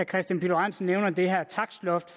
kristian pihl lorentzen nævner det her takstloft